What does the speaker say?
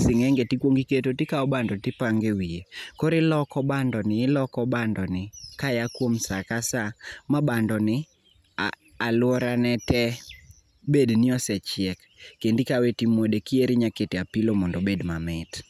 sing'enge tikwongi iketo tikawo bando tipange wiye. Koro iloko bandoni iloko bandoni kaya kuom sakasa ma bandoni alworane te bedni osechiek kendi ikawe timwode, kiero inyalo kete apilo mondo obed mamit.